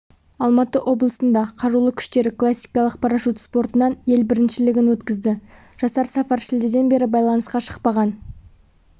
алматы облысында қарулы күштері классикалық парашют спортынан ел біріншілігін өткізді жасар сафар шілдеден бері байланысқа шықпаған